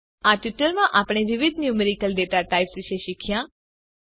આ ટ્યુટોરીયલમાં આપણે વિવિધ ન્યુમેરિકલ ડેટાટાઇપ્સ વિશે શીખ્યા